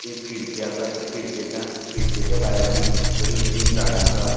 एक खिड़की असा खिड़केच्या खिड़केच्या भायल्यान बरी ग्रीन झाडा असा